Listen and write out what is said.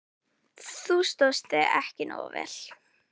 Þú stóðst þig ekki nógu vel.